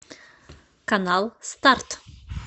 канал старт